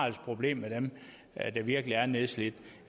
et problem med dem der virkelig er nedslidt